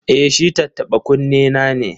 E, shi tattaɓa-kunnena ne.